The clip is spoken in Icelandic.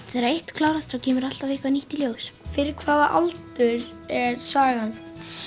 þegar eitt klárast kemur eitthvað nýtt í ljós fyrir hvaða aldur er sagan